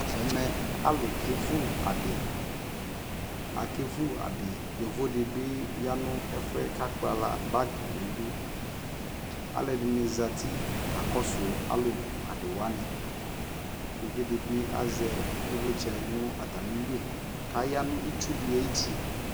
Ɛmɛ alʋ kevu adι Akevu adι, yovo dι bι ya nʋ ɛfu yɛ kʋ akpala bagi nʋ udu Alʋɛdini zati kakɔsu alʋ vu adιwani Uvidι bι azɛ ivlitsɛ nʋ atami lιkʋ aya nʋ itsʋ dι ayʋuti